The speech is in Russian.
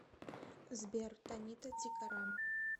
сбер танита тикарам